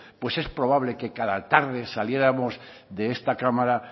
pues es probable que cada tarde saliéramos de esta cámara